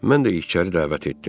Mən də içəri dəvət etdim.